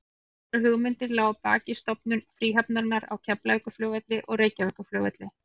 Sams konar hugmynd lá að baki stofnun fríhafnarinnar á Keflavíkurflugvelli og Reykjavíkurflugvelli.